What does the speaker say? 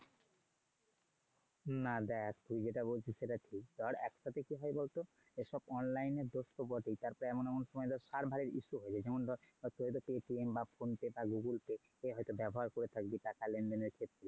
না দেখ তুই যেটা বলছিস সেটা ঠিক ধর এক টাতে কি হয় বলতো এসব online এর দোষ তো বটেই কিন্তু তারপর এমন এমন সময় server issue হয়ে যায় যেমন ধর paytm, phone pay বা google pay এ হয়তো ব্যবহার করে থাকবি টাকা লেনদেনের ক্ষেত্রে।